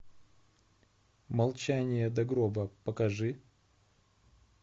молчание до гроба покажи